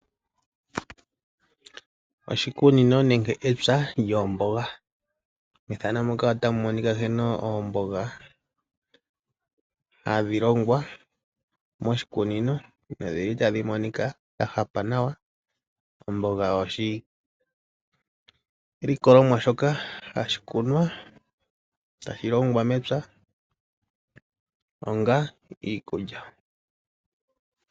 Oshikunino nenge epya lyoomboga, methano muka otamu monika nkene oomboga hadhi longwa moshikunino nodhili tadhi monika dha hapa nawa, omboga oyo oshilikolomwa shoka hashi kunwa, hashi longwa mepya onga iikulya.